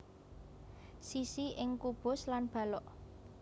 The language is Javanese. Sisi ing kubus lan balok